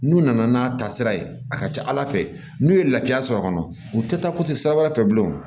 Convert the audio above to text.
N'u nana n'a ta sira ye a ka ca ala fɛ n'u ye lafiya sɔrɔ a kɔnɔ u tɛ taa sira wɛrɛ fɛ bilen